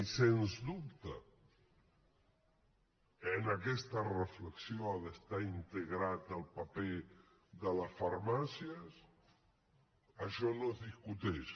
i sens dubte que en aquesta reflexió ha d’estar integrat el paper de les farmàcies això no es discuteix